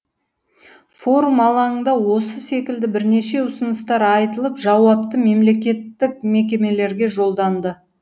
форум алаңында осы секілді бірнеше ұсыныстар айтылып жауапты мемлекеттік мекемелерге жолданды